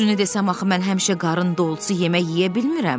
Düzünü desəm axı mən həmişə qarın dolusu yemək yeyə bilmirəm.